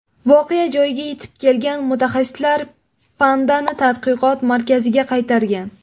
Voqea joyiga yetib kelgan mutaxassislar pandani tadqiqot markaziga qaytargan.